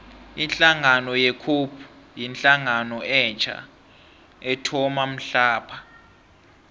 ihlangano ye cope yihlangano etja ethoma mhlapha